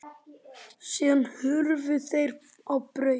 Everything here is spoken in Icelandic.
Síðan hurfu þeir á braut.